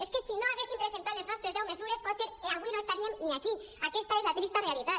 és que si no haguéssim presentat les nostres deu mesures potser avui no estaríem ni aquí aquesta és la trista realitat